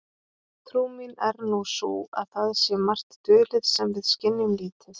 Trú mín er nú sú að það sé margt dulið sem við skynjum lítið.